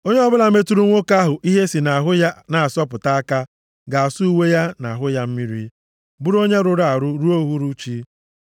“ ‘Onye ọbụla metụrụ nwoke ahụ ihe si nʼahụ ya na-asọpụta aka ga-asa uwe ya na ahụ ya mmiri, bụrụ onye rụrụ arụ ruo uhuruchi.